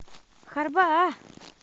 хорбаа